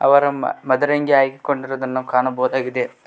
ಅವರ ಮ ಮದರಂಗಿ ಹಾಕಿಕೊಂಡಿರುದನ್ನು ಕಾಣಬಹುದಾಗಿದೆ.